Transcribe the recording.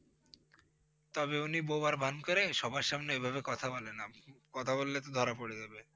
তবে উনি বোবার ভান করে সবার সামনে ওইভাবে কথা বলে না, কথা বললে তো ধরা পরে যাবে।